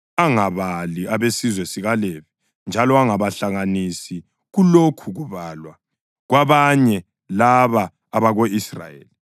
“Ungabali abesizwe sikaLevi njalo ungabahlanganisi kulokhu kubalwa kwabanye laba abako-Israyeli.